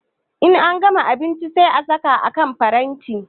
In an gama abinchi sai a saka a kan paranti